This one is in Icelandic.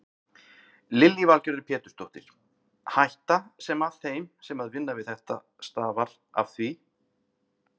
Lillý Valgerður Pétursdóttir: Hætta sem að þeim sem að vinna við þetta stafar af því?